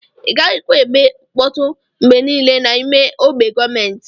Igaghi kwa eme nkpọtụ ngbe nile na ime ogbe gọọmenti.